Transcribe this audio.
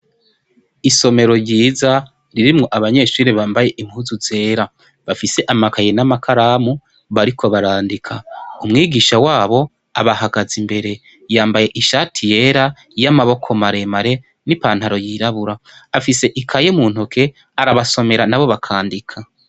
Isomero ryiza ririmwo abanyeshure bambaye impuzu zera. Bafise amakaye n'amakaramu, bariko barandika. Umwigisha wabo abahagaze imbere. Yambaye ishati yera, y'amaboko maremare, n'ipantaro yirabura. Afise ikaye mu ntoke, arabasomera na bo bakandika.